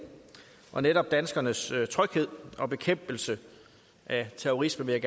og netop danskernes tryghed og bekæmpelse af terrorisme vil